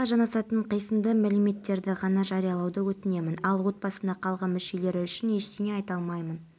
сотқа дейінгі тергеу жүріп жатыр ел бюджетінің былтырғы кірісі триллион теңгеден асты жылмен салыстырғанда көрсеткіш пайызға